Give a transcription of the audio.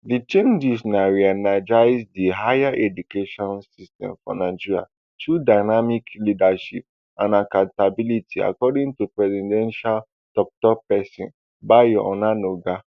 di changes na reenergise di higher education system for nigeria through dynamic leadership and accountability according to presidential toktok person bayo onanuga